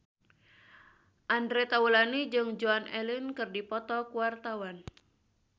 Andre Taulany jeung Joan Allen keur dipoto ku wartawan